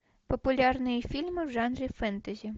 популярные фильмы в жанре фэнтези